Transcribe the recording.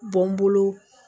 Bɔn n bolo